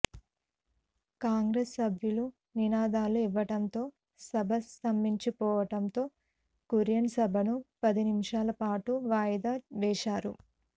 కాంగ్రెస్ సభ్యులు నినాదాలు ఇవ్వటంతో సభ స్తంభించిపోవటంతో కురియన్ సభను పది నిమిషాలపాటు వాయిదా వేశారు